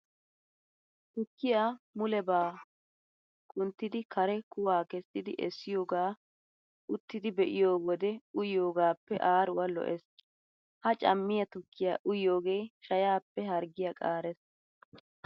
Tukkiya mulebaa kunttidi kare kuwaa kessidi essiyogaa uttidi be'iyo wode uyiyogaappe aaruwa lo"ees. Ha cammiya tukkiya uyiyoogee shayaappe harggiya qaarees.